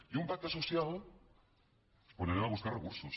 i un pacte social on anem a buscar recursos